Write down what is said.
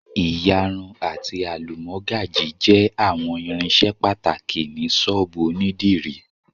Iyar ati alumọgaji jẹ awọn irinṣẹ pataki ni ṣóòbù onídìrí